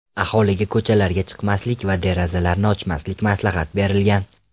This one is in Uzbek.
Aholiga ko‘chalarga chiqmaslik va derazalarni ochmaslik maslahat berilgan.